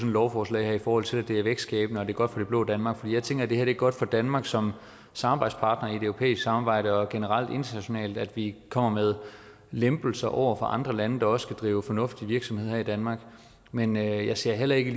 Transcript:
lovforslag her i forhold til at det er vækstskabende og godt for det blå danmark for jeg tænker at det er godt for danmark som samarbejdspartner i det europæiske samarbejde og generelt internationalt at vi kommer med lempelser over for andre lande der også skal drive fornuftige virksomheder her i danmark men jeg ser heller ikke